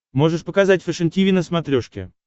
можешь показать фэшен тиви на смотрешке